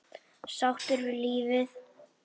Sáttur við lífið.